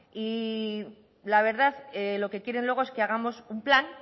y la verdad lo que quieren luego es que hagamos un plan